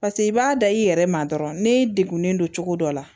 paseke i b'a da i yɛrɛ ma dɔrɔn ne degunnen don cogo dɔ la